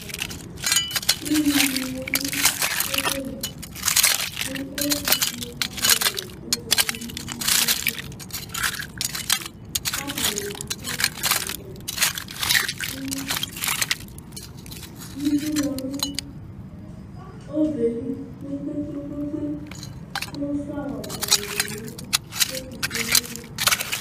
Ʋnyini yanʋ ɔbɛlɩ, kʋ ɛtʋfue alʋ ɛla ɔyanʋ itsu ava kʋ atani akɔ ɛkɔtɔ. Itsʋ yanʋ ɔbɛli kpe kpe kpe kʋ flawa bʋɛamʋ di yanʋ ɛtʋfuele wani ɛtʋ.